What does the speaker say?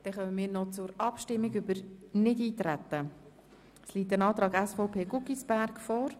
Wir kommen zur Abstimmung über den Nichteintretensantrag der SVP.